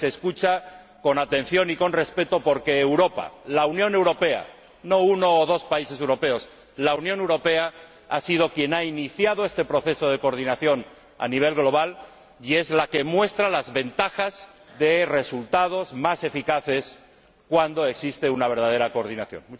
Y se escucha con atención y con respeto, porque Europa, la Unión Europea, no uno o dos países europeos, la Unión Europea ha sido quien ha iniciado este proceso de coordinación a nivel global y es la que muestra las ventajas de resultados más eficaces cuando existe una verdadera coordinación.